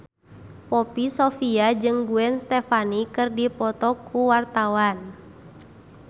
Poppy Sovia jeung Gwen Stefani keur dipoto ku wartawan